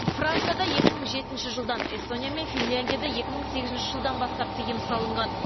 францияда екі мың жетінші жылдан эстония мен финляндияда екі мың сегізінші жылдан бастап тыйым салынған